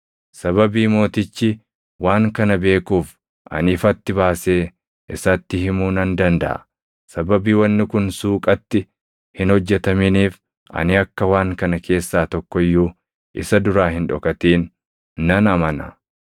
Sababii mootichi waan kana beekuuf, ani ifatti baasee isatti himuu nan dandaʼa. Sababii wanni kun suuqatti hin hojjetaminiif ani akka waan kana keessaa tokko iyyuu isa duraa hin dhokatin nan amana.